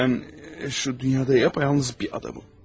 Mən şu dünyada yapa yalnız bir adamım.